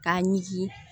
K'a ɲiki